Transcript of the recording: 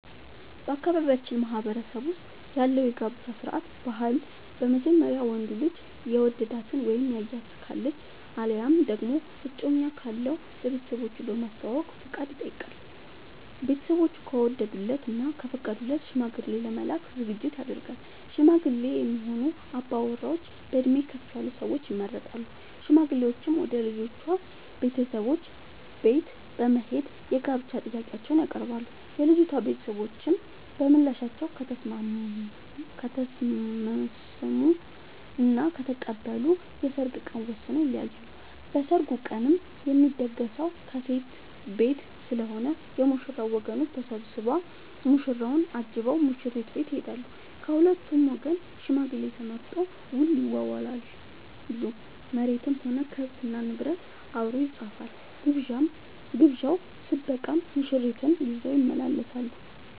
በአካባቢያችን ማህበረሰብ ውስጥ ያለው የጋብቻ ስርዓት/ ባህል በመጀመሪያ ወንዱ ልጅ የወደዳት እና ያያት ካለች አለያም ደግሞ እጮኛ ካለው ለቤተሰቦቹ በማሳወቅ ፍቃድ ይጠይቃል። ቤተስቦቹ ከወደዱለት እና ከፈቀዱለት ሽማግሌ ለመላክ ዝግጅት ይደረጋል። ሽማግሌ የሚሆኑ አባወራዎች በእድሜ ከፍ ያሉ ሰዎች ይመረጣሉ። ሽማግሌዎቹም ወደ ልጅቷ ቤተሰቦች በት በመሄድ የጋብቻ ጥያቄአቸውን ያቀርባሉ። የልጂቷ ቤተሰቦችም በምላሻቸው ከተስምስሙ እና ከተቀበሉ የሰርግ ቀን ወስነው ይለያያሉ። በሰርጉ ቀንም የሚደገሰው ከሴት ቤት ስለሆነ የ ሙሽራው ወገኖች ተሰብስቧ ሙሽራውን አጅበው ሙሽሪት ቤት ይሄዳሉ። ከሁለቱም ወገን ሽማግሌ ተመርጦ ውል ይዋዋላሉ መሬትም ሆነ ከብት እና ንብረት አብሮ ይፃፋል። ግብዣው ስበቃም ሙሽርትን ይዘው ይመለሳሉ።